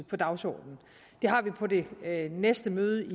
på dagsordenen det har vi på det næste møde